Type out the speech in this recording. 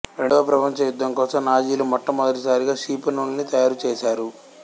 రెండవ ప్రపంచ యుద్ధం కోసం నాజీలు మొట్టమొదటి సారిగా క్షిపణుల్ని తయారు చేశారు